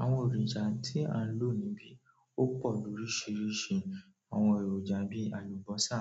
Àwọn ẹ̀roja tí à ń lò níbí ó pọ̀ lóríṣiríṣi. Àwọn èròjà bí àlùbọ́sà,